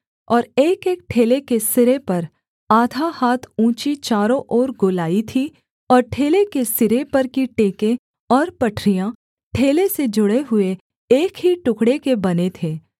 और एकएक ठेले के सिरे पर आधा हाथ ऊँची चारों ओर गोलाई थी और ठेले के सिरे पर की टेकें और पटरियाँ ठेले से जुड़े हुए एक ही टुकड़े के बने थे